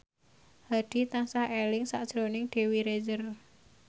Hadi tansah eling sakjroning Dewi Rezer